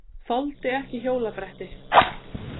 Þoldi ekki hjólabretti.